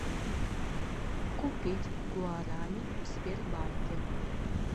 купить гуарани в сбербанке